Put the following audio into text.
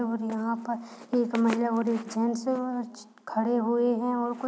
और यहाँ पर एक महिला और एक जेन्स है खड़े हुए हैं कुछ --